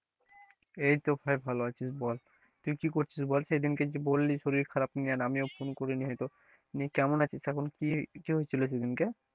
এইতো ভাই ভালো আছি বল, তুই কি করছিস বল সেদিনকে যে বললি শরীর খারাপ নিয়ে আর আমিও phone করিনি হয়তো নিয়ে কেমন আছিস এখন কি কি হয়েছিল সেদিনকে?